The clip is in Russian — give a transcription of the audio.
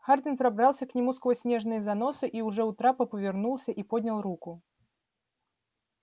хардин пробрался к нему сквозь снежные заносы и уже у трапа повернулся и поднял руку